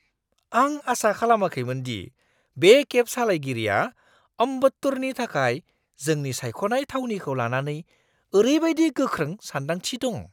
आं आसा खालामाखैमोन दि बे केब सालायगिरिया अम्बत्तूरनि थाखाय जोंनि सायख'नाय थावनिखौ लानानै ओरैबायदि गोख्रों सान्दांथि दं!